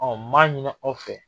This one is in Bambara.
Ɔ m'a ɲini aw fɛ